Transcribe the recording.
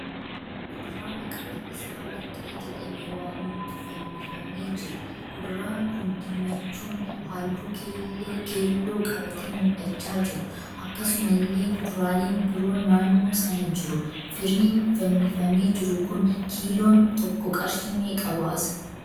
Kuduraa maqaan isaa warqee jedhame waamamutu fannifamee jira. kuduraan kun diimachuun halluu keelloo qabatee mul'achaa jira. Akkasumallee kuduraaleen biroon naannoo sana jiru. Firiin fannifamee jiru kun kiiloon tokko qarshii meeqa baasa?